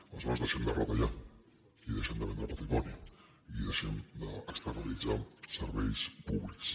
aleshores deixem de retallar i deixem de vendre patrimoni i deixem d’externalitzar serveis públics